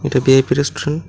A V I P restaurant.